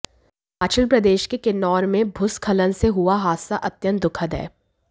हिमाचल प्रदेश के किन्नौर में भूस्खलन से हुआ हादसा अत्यंत दुखद है